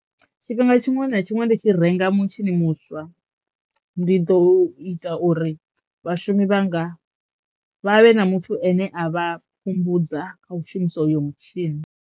Tshifhinga tshiṅwe na tshiṅwe ndi tshi renga mutshini muswa ndi ḓo ita uri vhashumi vhanga vha vhe na muthu ane a vha pfhumbudza kha u shumisa hoyo mutshini.